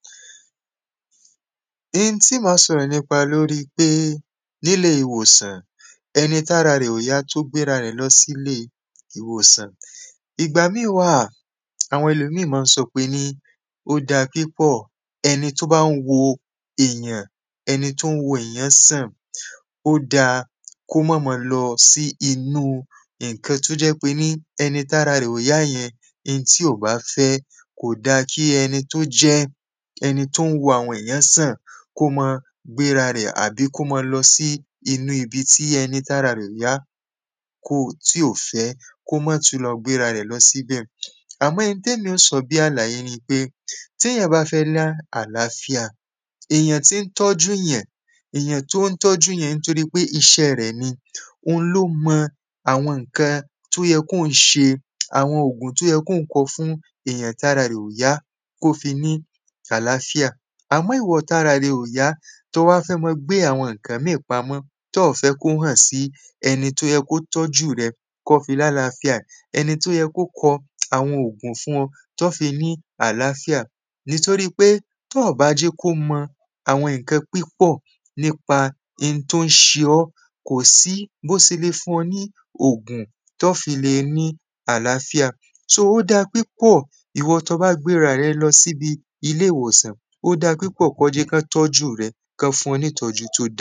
In tí mà á sọ̀rọ̀ nípa lórí pé níle ìwòsàn ẹnī tára rẹ̀ ò yá tó gbé rarẹ̀ lọ sílé ìwòsàn. Ìgbà míì wà, àwọn ẹlòmíì má ń sọ pení ó dáa pípọ̀ ẹni tó bá ń wo èyàn, ẹni tó ń wo èyàn-án sàn, ó dáa kó mọ́ mọ lọ sí inú ǹkan tó jẹ́ pení ẹni tára rẹ̀ ò yá yẹn, in tí ò bá fẹ́, kò dáa kí ẹni tó jẹ́ ẹni tó ń wo àwọn èyàn sàn kó mọ́ọ gbéra rẹ̀ àbí kó mọ́ọ lọ sí inú ibi tí ẹni tára rẹ̀ ò yá kò tí ò fẹ́ kó mọ́ tún lọ gbéra rẹ̀ lọ síbẹ̀. Àmọ́ n tẹ́mi ó sọ bí àlàyé ni pé téyàn bá fẹ́ ní àláfíà, èyàn tí ń tọ́jú yàn, èyàn tó ń tọ́jú yẹn ńtorí pé iṣẹ́ rẹ̀ ni òun ló mọ àwọn ǹkan tó yẹ kóun ṣe, àwọn ògùn tó yẹ kóun kọ fún ẹni tára rẹ̀ ó yá kó fi ní àláfíà. Àmọ́ ìwọ tára rẹ ò yá tó o wa fẹ́ mọ́ọ gbé àwọn ǹkàn míì pamọ́, tọ́ọ̀ fẹ́ kò hàn sí ẹni tó yẹ kó tọ́jú rẹ kọ́ fi lálàáfíà. Ẹ̄ni tó yẹ kó kọ àwọn òògùn fún ọ tọ́ fi ní àláfíà nìtoríi pé tọ́ọ̀ bá jẹ́ kó mọ àwọn ǹkan pípọ̀ nípa in tó ń ṣe ọ́, kò sí bó se le fún ọ ní ògùn tọ́ọ́ fi le ní àláfíà. So ó dáa pípọ̀ ìwọ tọ́ọ bá gbéra rẹ lọ síbi ilé ìwòsàn ó dáa pípọ̀ kọ́ ọ jẹ́ kán tọ́jú rẹ, kán fún ọ nítọ̀jú tó da.